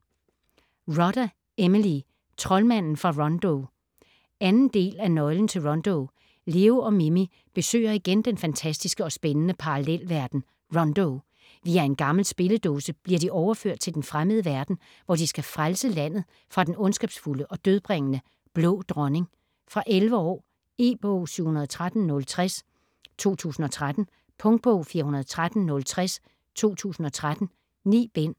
Rodda, Emily: Troldmanden fra Rondo 2. del af Nøglen til Rondo. Leo og Mimi besøger igen den fantastiske og spændende parallelverden Rondo. Via en gammel spilledåse bliver de overført til den fremmede verden, hvor de skal frelse landet fra den ondskabsfulde og dødbringende Blå Dronning. Fra 11 år. E-bog 713060 2013. Punktbog 413060 2013. 9 bind.